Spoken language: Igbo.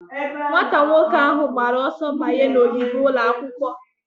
Nwata nwoke ahụ gbara ọsọ banye n'ogige ụlọ akwụkwọ.